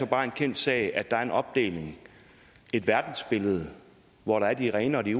bare en kendt sag at der er en opdeling et verdensbillede hvor der er de rene og de